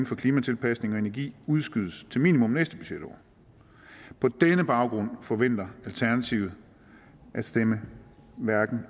for klimatilpasning og energi udskydes til minimum næste budgetår på den baggrund forventer alternativet at stemme hverken